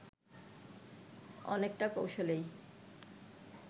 অনেকটা কৌশলেই